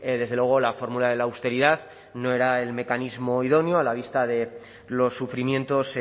desde luego la fórmula de la austeridad no era el mecanismo idóneo a la vista de los sufrimientos